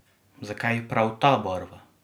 Zakaj prav ta barva?